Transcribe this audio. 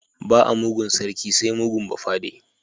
Ba a mugun sarki sai mugun bafade.